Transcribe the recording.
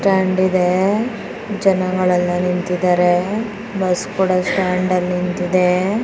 Stand ಇದೆ ಜನಗಳು ಎಲ್ಲಾ ನಿಂತಿದ್ದಾರೆ. ಬಸ್ ಕೂಡ ಸ್ಟಾಂಡ್ ಅಲ್ಲಿ ನಿಂತಿದೆ.